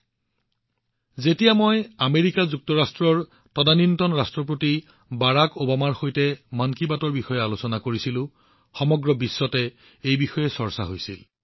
যেতিয়া মই তদানীন্তন আমেৰিকা যুক্তৰাষ্ট্ৰৰ ৰাষ্ট্ৰপতি বাৰাক অবামাৰ সৈতে যুটীয়াভাৱে মন কী বাত ভাগবতৰা কৰিছিলো সমগ্ৰ বিশ্বতে ই চৰ্চাৰ বিষয় হৈ পৰিছিল